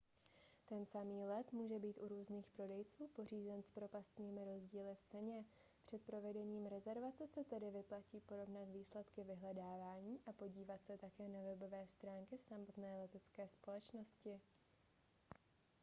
ten samý let může být u různých prodejců pořízen s propastnými rozdíly v ceně před provedením rezervace se tedy vyplatí porovnat výsledky vyhledávání a podívat se také na webové stránky samotné letecké společnosti